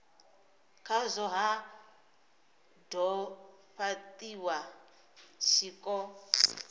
khazwo ha do fhatiwa tshiko